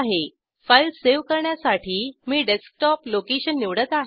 file save करण्यासाठी मी desktop location निवडत आहे